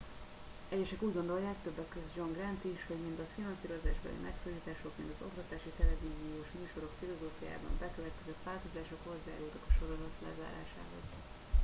egyesek úgy gondolják többek közt john grant is - hogy mind a finanszírozásbeli megszorítások mind az oktatási televíziós műsorok filozófiájában bekövetkezett változások hozzájárultak a sorozat lezárásához